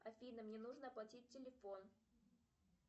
афина мне нужно оплатить телефон